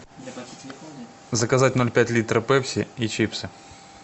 заказать ноль пять литра пепси и чипсы